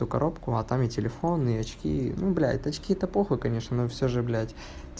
то коробку а там и телефон и очки ну блядь очки это по хуй конечно но всё же блядь